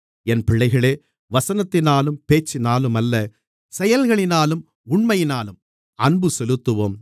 என் பிள்ளைகளே வசனத்தினாலும் பேச்சினாலுமல்ல செயல்களினாலும் உண்மையினாலும் அன்பு செலுத்துவோம்